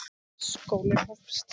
Skólinn hófst.